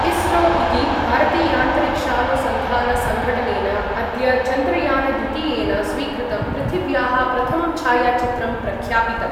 इस्रो इति भारतीयान्तरिक्षानुसन्धानसङ्घटनेन अद्य चन्द्रयानद्वितीयेन स्वीकृतं पृथिव्याः प्रथमं छायाचित्रं प्रख्यापितम्।